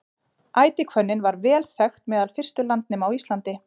ætihvönnin var vel þekkt meðal fyrstu landnema á íslandi